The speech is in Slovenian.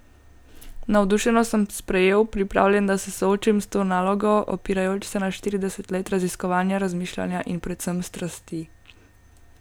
Navdušeno sem sprejel, pripravljen, da se soočim s to nalogo, opirajoč se na štirideset let raziskovanja, razmišljanja in predvsem strasti.